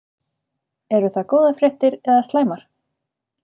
Eru það góðar fréttir eða slæmar?